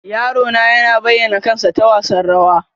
Yaro na yana bayyana kansa ta wasan rawa.